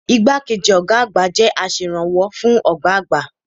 Igbákejì ọ̀gá àgbà jẹ́ aserànwọ́ fún ọ̀gá àgbà.